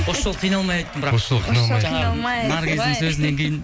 осы жолы қиналмай айттым бірақ наргиздің сөзінен кейін ііі